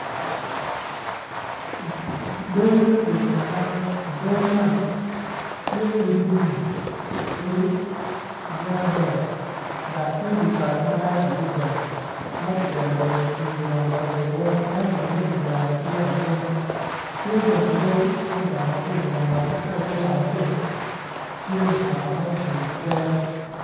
Gangi me bedo pa dano i gani man tye odi lum odi gin adek dak tye di kal malac adida ma kipito lum otwii oromo kabedo weny ento lumme ki jwero tye lapiny tye bene yadi ma odongo maboco lamal ka iter yat acel tye mutaka ma ocung itere